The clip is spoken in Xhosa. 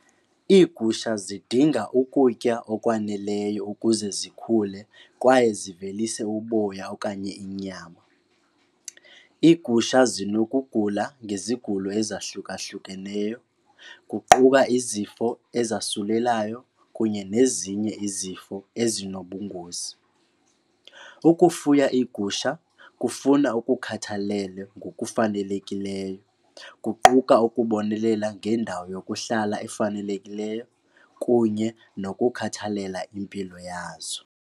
Iigusha zidinga ukutya okwaneleyo ukuze zikhule kwaye zivelise uboya okanye inyama. Iigusha zinokugula ngezigulo ezahlukahlukeneyo kuquka izifo ezasulelayo kunye nezinye izifo ezinobungozi. Ukufuya iigusha kufuna ukukhathalele ngokufanelekileyo kuquka ukubonelela ngendawo yokuhlala efanelekileyo kunye nokukhathalela impilo yazo.